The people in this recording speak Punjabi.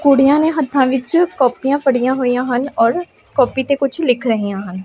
ਕੁੜੀਆਂ ਨੇ ਹੱਥਾਂ ਵਿੱਚ ਕੋਪੀਆਂ ਫੜੀਆਂ ਹੋਈਆਂ ਹਨ ਔਰ ਕਾਪੀ ਤੇ ਕੁਝ ਲਿਖ ਗਈਆਂ ਹਨ।